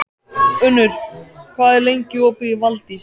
Unnur, hvað er lengi opið í Valdís?